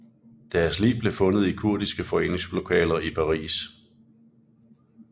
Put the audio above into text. Deres lig blev fundet i kurdiske foreningslokaler i Paris